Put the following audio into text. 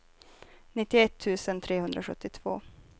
nittioett tusen trehundrasjuttiotvå